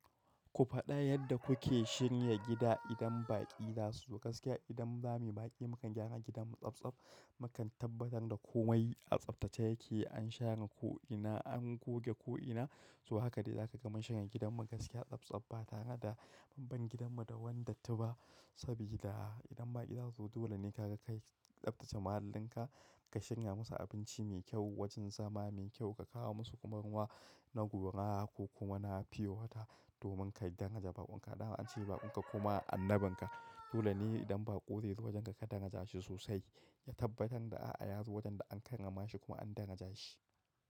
Ku faɗa yadda kuke shirya gida idan baƙi za su zo. Gaskiya idan zamuyi baƙi mukan gyara gidanmu tsabtsab, mukan tabbatar da komai a tsabtace yake, an share ko'ina, an goge ko'ina. So haka dai za ka gama shirya gidanmu gaskiya tsabtsab ba tare da banban gidanmu da wanda tu ba. Sabida idan baƙi za su zo dole ne ka kai tsabtace mahallinka, ka shirya musu abinci mai kyau, wajen zama mai kyau, ka kawo musu kuma ruwa na guragu kuma na fio wata domin ka dangaja baƙinka. Da an ce baƙinka kuma annabin ka. Dole ne idan baƙo zai zo wajen ka ka daraja shi sosai. Ya tabbatar da a'a ya zo wajen da an karrama shi kuma an daraja shi.